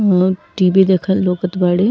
लोग टीवी देखल लौकत बाड़े।